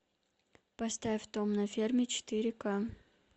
поставь том на ферме четыре ка